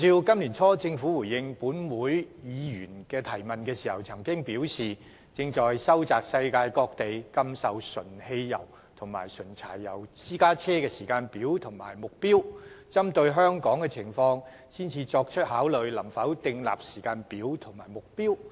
今年年初政府回應本會議員提問時所表示，當局正在收集世界各地禁售純汽油及純柴油私家車的時間表或目標，並會針對香港的情況作出考慮，然後才決定能否就此訂立時間表及目標。